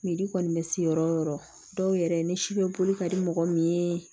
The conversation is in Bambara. kɔni bɛ se yɔrɔ o yɔrɔ dɔw yɛrɛ ni si bɛ boli ka di mɔgɔ min ye